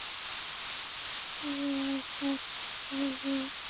Ég hjálpaði afa oft að passa Skunda.